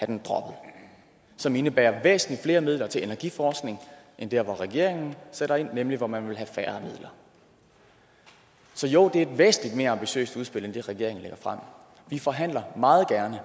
den droppet som indebærer væsentligt flere midler til energiforskning end der hvor regeringen sætter ind nemlig hvor man vil have færre midler så jo det er et væsentlig mere ambitiøst udspil end det regeringen lægger frem vi forhandler meget gerne